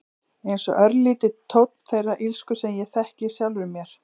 Einsog örlítill tónn þeirrar illsku sem ég þekki í sjálfri mér.